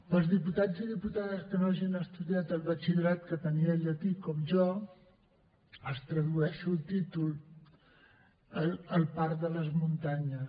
per als diputats i diputades que no hagin estudiat el batxillerat que tenia el llatí com jo els en tradueixo el títol el part de les muntanyes